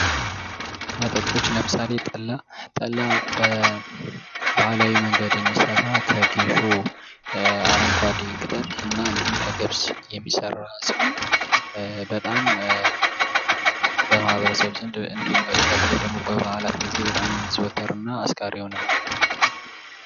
መጠጦች ለምሳሌ:-ጠላ፤ ጠላ በባህላዊ መንገድ የሚሠራ ከጌሾ አረንጓዴ ቅጠል እና እንዲሁም ከገብስ የሚሠራ ሲሆን በጣም በማህበረሰብ ዘንድ እንዲሁም በተለይ ደግሞ በባእላት ጊዜ በጣም የሚዘወትም ነው። አስካሪ የሆነ መጠጥ ነው።